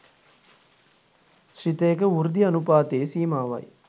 ශ්‍රිතයක වෘද්ධි අනූපාතයේ සීමාවයි.